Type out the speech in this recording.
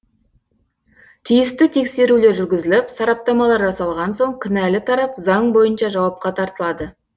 тиісті тексерулер жүргізіліп сараптамалар жасалған соң кінәлі тарап заң бойынша жауапқа тартылады